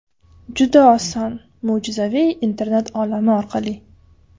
Juda oson: mo‘jizaviy internet olami orqali!